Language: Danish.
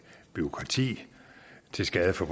bureaukrati til skade for